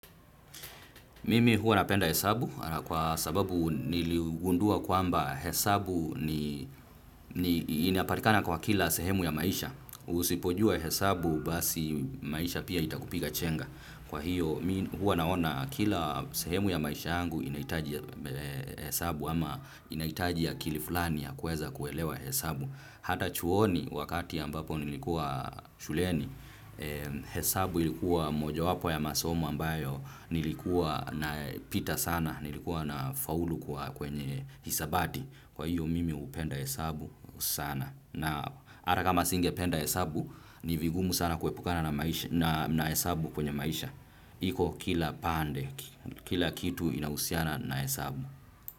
Mimi huwa napenda hesabu kwa sababu niliugundua kwamba hesabu ni inapatikana kwa kila sehemu ya maisha. Usipojua hesabu basi maisha pia itakupiga chenga. Kwa hivyo mimi huwa naona kila sehemu ya maisha yangu inahitaji hesabu ama inahitaji akili fulani ya kuweza kuelewa hesabu. Hata chuoni wakati ambapo nilikuwa shuleni, hesabu ilikuwa mojawapo ya masomo ambayo nilikuwa napita sana, nilikuwa nafaulu kwenye hisabati. Kwa hivyo mimi hupenda hesabu sana. Na hata kama singependa hesabu, ni vigumu sana kuepukana na hesabu kwenye maisha. Iko kila pande, kila kitu kinahusiana na hesabu.